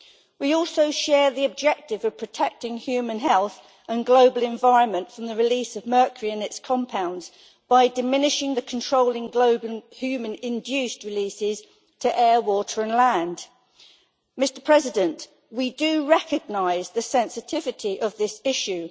We also share the objective of protecting human health and global environment from the release of mercury and its compounds by diminishing and controlling human induced releases to air, water and land. We do recognise the sensitivity of this issue.